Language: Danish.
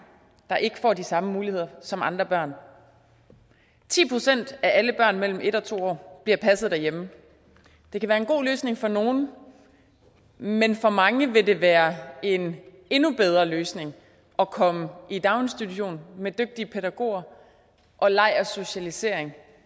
der ikke får de samme muligheder som andre børn ti procent af alle børn mellem en og to år bliver passet derhjemme det kan være en god løsning for nogle men for mange vil det være en endnu bedre løsning at komme i daginstitution med dygtige pædagoger og leg og socialisering